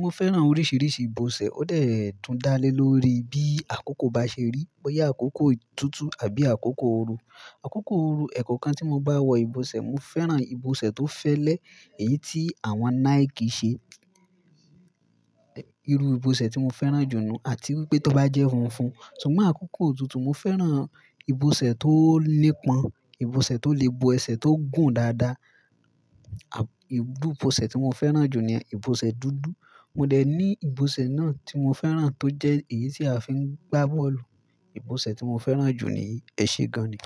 Mo fẹ́ràn oríṣiríṣi ìbọ̀sẹ̀. Ó dẹ̀ tun dá lé lórí bí àkókò bá ṣe rí. Bóyá àkókò òtútù àbí àkókò ooru. Àkókò ooru ẹ̀kọ̀kan tí mo bá wọ ìbọ̀sẹ̀, mo fẹ́ràn ìbọ̀sẹ̀ tó fẹ́lẹ́ èyí tí àwọn Nike ṣe. Ẹ̀ irú ìbọ̀sẹ̀ tí mo fẹ́ràn jù nù àti wípé tó bá jẹ́ funfun. Ṣùgbọ́n àkókò òtútù mo fẹ́ràn ìbọ̀sẹ̀ tó ní pọn, ìbọ̀sẹ̀ tó le bo ẹsẹ̀ tó gùn dáadáa. À ìbú ìbọ̀sẹ̀ tí mo fẹ́ràn jù ni ìbọ̀sẹ̀ dúdú. Mo dẹ̀ ní ìbọ̀sẹ̀ náà tí mo fẹ́ràn tó jẹ́ èyí tí a fi ń gbá bọ́ọ̀lù. Ìbọ̀sẹ̀ tí mo fẹ́ràn jù ni yii, ẹṣẹ gan-an ni.